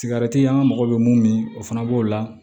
Sigarɛti an ka mago bɛ mun o fana b'o la